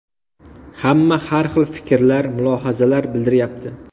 Hamma har hil fikrlar, mulohazalar bildiryapti.